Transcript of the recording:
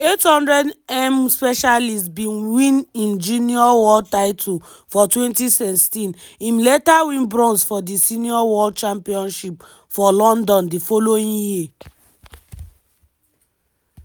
di 800m specialist bin win im junior world title for 2016 im later win bronze for di senior world championships for london di following year.